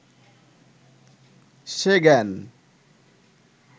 সে জ্ঞান